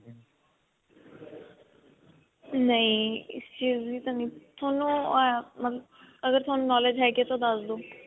ਨਹੀਂ ਇਸ ਚੀਜ਼ ਦੀ ਤਾਂ ਨਹੀਂ ਤੁਹਾਨੂੰ ਅਅ ਮਤਲਬ ਅਗਰ ਤੁਹਾਨੂੰ knowledge ਹੈਗੀ ਹੈ ਤਾਂ ਦੱਸ ਦੋ.